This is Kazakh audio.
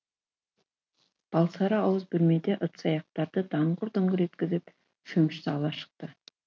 балсары ауыз бөлмеде ыдыс аяқтарды даңғыр дұңғыр еткізіп шөмішті ала шықты